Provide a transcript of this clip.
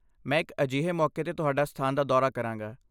ਮੈਂ ਇੱਕ ਅਜਿਹੇ ਮੌਕੇ ਤੇ ਤੁਹਾਡੇ ਸਥਾਨ ਦਾ ਦੌਰਾ ਕਰਾਂਗਾ।